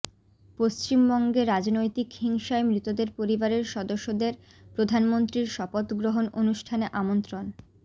পশ্চিমবঙ্গে রাজনৈতিক হিংসায় মৃতদের পরিবারের সদস্যদের প্রধানমন্ত্রীর শপথ গ্রহণ অনুষ্ঠানে আমন্ত্রণ